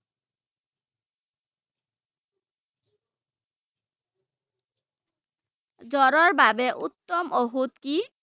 জ্বৰৰ বাবে উত্তম ঔষধ কি?